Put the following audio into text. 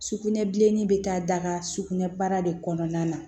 Sugunɛbilenni bɛ taa daga sugunɛ baara de kɔnɔna na